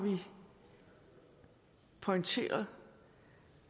pointeret